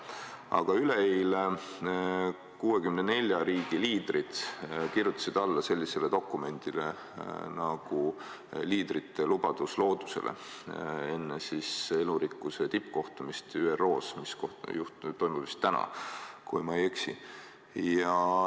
Aga üleeile kirjutasid 64 riigi liidrid alla sellisele dokumendile nagu "Liidrite lubadus loodusele", seda enne elurikkuse tippkohtumist ÜRO-s, mis toimub vist täna, kui ma ei eksi.